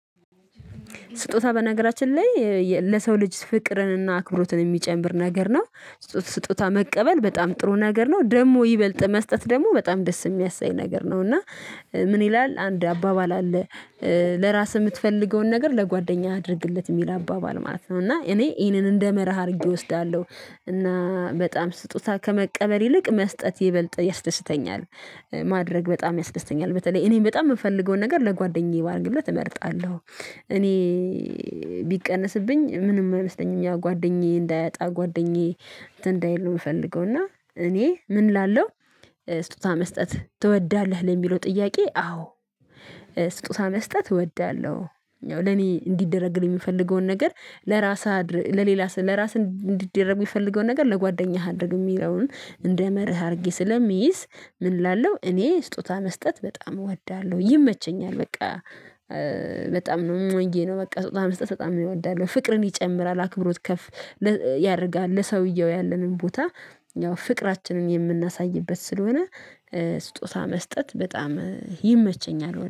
ስጦታ በነገራችን ላይ ለሰው ልጅ ፍቅርንና አክብሮትን የሚጨምር ነገር ነው። ስጦታ መቀበል በጣም ጥሩ ነገር ነው። ደግሞ ይበልጥ መስጠት ደግሞ በጣም ደስ የሚያሰኝ ነገር ነው። እና ምን ይላል አንድ አባባል አለ፤ ለራስህ የምትፈልገውን ነገር ለጓደኛ አድርግለት የሚል አባባል ማለት ነው። እና እኔ ይሄንን እንደ መርህ አድርጌ እወስዳለሁ። እና በጣም ስጦታ ከመቀበል ይልቅ መስጠት ይበልጥ ያስደስተኛል። ማድረግ በጣም ያስደስተኛል። በተለይ እኔ በጣም የምፈልገውን ነገር ለጓደኛዬ ባደርግለት እመርጣለሁ። እኔ ቢቀነስብኝ ምንም አይመስለኝም ጓደኛዬ እንዳያጣ ጓደኛዬ እንትን እንዳይል ነው የምፈልገው። እና እኔ ምን እላለሁ ስጦታ መስጠት ትወዳለህ ለሚለው ጥያቄ አዎ ስጦታ መስጠት እወዳለሁ። ለኔ እንዲደረግልኝ የምፈልገውን ነገር ለራስህ ለሌላ ስል ለራስህ እንዲደረግ የሚፈልገውን ነገር ለጓደኛህ አድርግ የሚለውን እንደ መርህ አድርጌ ስለሚይዝ ምን እላለሁ እኔ ስጦታ መስጠት በጣም እወዳለሁ። ይመቸኛል። በቃ በጣም ነው እዬ ነው በቃ ስጦታ መስጠት በጣም እወዳለሁ። ፍቅርን ይጨምራል። አክብሮት ከፍ ያደርጋል። ለሰውየው ያለንን ቦታ ያው ፍቅራችንን የምናሳይበት ስለሆነ ስጦታ መስጠት በጣም ይመቸኛል።